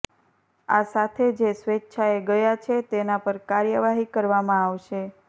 આ સાથે જે સ્વેચ્છાએ ગયા છે તેના પર કાર્યવાહી કરવામાં આવશે